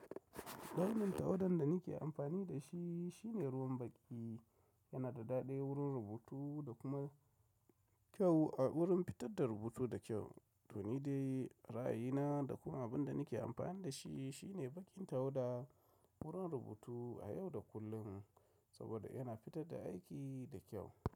Launin tawadan da nake amfani da shi shine ruwan baƙi. Yana da daɗi wurin rubutu da kuma kyau a wurin fitar da rubutu da kyau. To ni dai ra'ayina da kuma abin da nake amfani da shi shine baƙin tawada wurin rubutu a yau da kullum saboda yana fitar da aiki da kyau.